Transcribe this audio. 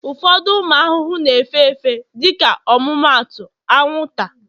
ụfọdụ ụmụ ahụhụ na-efe efe, dịka ọmụmaatụ, anwụnta,